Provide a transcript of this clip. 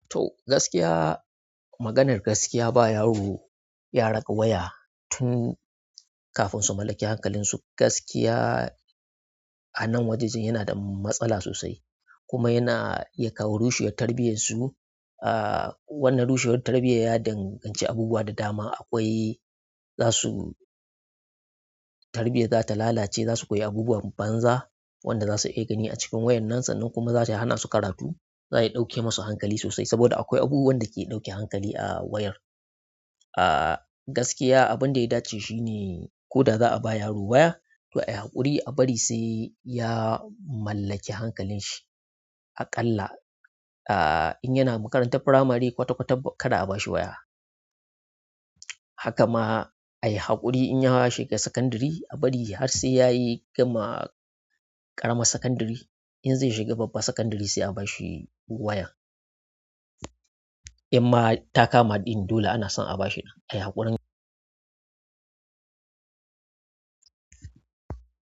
To gaskiya, maganar gaskiya ba yaro ya raka waya tun kafin su mallaki hankalinsu. Gaskiya a nan wajejen yana da matsala sosai kuma yana iya kawo rushewar tarbiyarsu. Ah wanna rushewar tarbiyyar ya danganci abubuwa da dama. Akwai za su tarbiyya za ta lalace, za su koyi abubuwan banza wanda zasu iya gani a cikin wayar nan sannan kuma zata iya hana su karatu. Za'a iya ɗauke masu hankali sosai saboda akwai abu wanda ke ɗauke hankali a wayar. Ah gaskiya abinda ya dace shine ko da za'a ba yaro waya to ayi haƙuri a bari sai ya mallaki hankalin shi aƙalla. Ah in yana makarantar firamare kwata kwata kada a bashi waya. Haka ma ayi haƙuri inya shiga sakandare a bari har sai yayi gama ƙaramar sakandare. In zai shiga babbar sakandare sai a bashi wayar. Inma ta kama ɗin dole ana son a bashi ɗin ayi haƙurin.